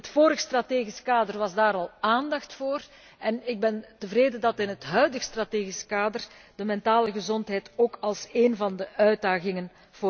In het vorige strategisch kader was daar al aandacht voor en ik ben tevreden dat in het huidige strategisch kader de mentale gezondheid prioriteit krijgt als één van de uitdagingen.